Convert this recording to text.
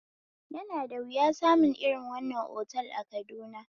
Yana da wuya samu irin wannan otal a Kaduna